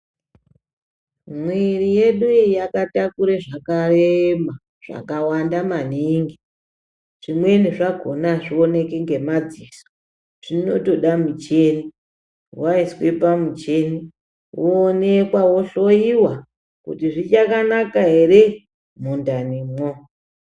Mwiri yedu iyi yakatakura zvakareba zvakawanda maningi zvimweni zvakona azvioneki nemadziso zvinotoda muchini waiswa pamuchini woonekwa wohloiwa kuti zvichakanaka here mundanimo.